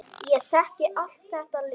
Ég þekki allt þetta lið.